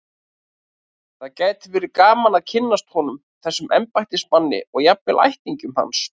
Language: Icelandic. Það gæti verið gaman að kynnast honum, þessum embættismanni, og jafnvel ættingjum hans.